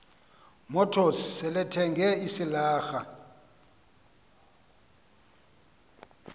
motors selethenge isilarha